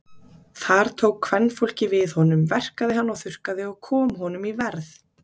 Þar tók kvenfólkið við honum, verkaði hann og þurrkaði og kom honum í verð.